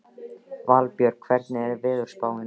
Valborg, hvernig er veðurspáin?